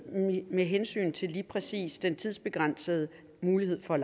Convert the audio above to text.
med hensyn til lige præcis den tidsbegrænsede mulighed for